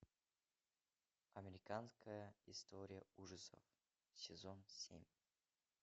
американская история ужасов сезон семь